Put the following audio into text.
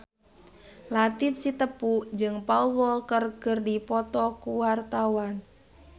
Latief Sitepu jeung Paul Walker keur dipoto ku wartawan